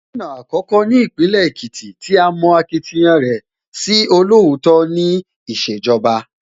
Gómìnà àkọ́kọ́ ní Ìpínlẹ̀ Èkìtì tí a mọ akitiyan rẹ̀ sí olóòótọ́ ní ìṣèjọba